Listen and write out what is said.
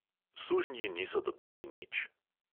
Sužnji niso dobili nič.